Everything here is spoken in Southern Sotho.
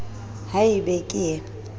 ha e be ke ee